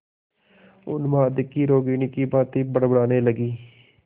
उन्माद की रोगिणी की भांति बड़बड़ाने लगी